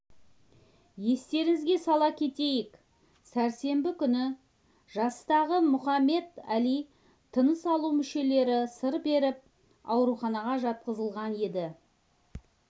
естеріңізге сала кетейік сәрсенбі күні жастағы мұхаммед әли тыныс алу мүшелері сыр беріп ауруханаға жатқызылған еді